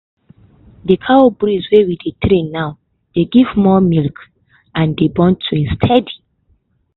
di cow breed we dey train now dey give more milk and dey born twins steady.